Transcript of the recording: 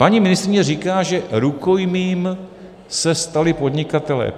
Paní ministryně říká, že rukojmím se stali podnikatelé.